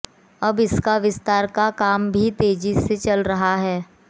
अब इसका विस्तार का काम भी तेजी से चल रहा है